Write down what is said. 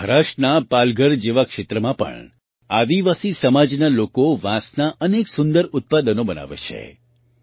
મહારાષ્ટ્રના પાલઘર જેવા ક્ષેત્રમાં પણ આદિવાસી સમાજના લોકો વાંસનાં અનેક સુંદર ઉત્પાદનો બનાવે છે